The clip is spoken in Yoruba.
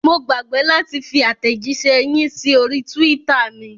Mo gbàgbé láti fi àtẹ̀jíṣẹ́ yìí sí orí twitter mi.